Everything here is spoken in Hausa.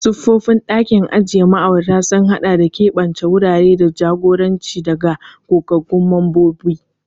Siffofin ɗakin ajiye ma'aurata sun haɗa da keɓance wurare da jagoranci daga gogaggun mambobi.